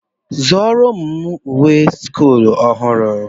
Zụrụ ụmụ m uwe sch ọhụrụ.